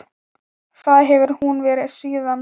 Það hefur hún verið síðan.